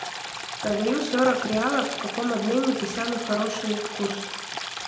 продаю сорок реалов в каком обменнике самый хороший курс